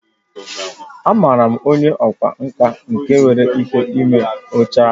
Amaara m onye ọkwá nkà nke nwere ike ime oche anyị